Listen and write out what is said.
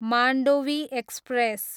Mandovi express